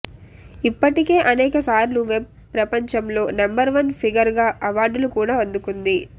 ఇప్పటికే అనేకసార్లు వెబ్ ప్రపంచంలో నెంబర్ వన్ ఫిగర్ గా అవార్డులు కూడా అందుకుంది